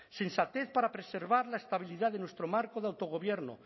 sensatez para preservar la estabilidad de nuestro marco de autogobierno